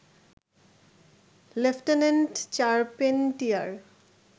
lieutenant Charpentier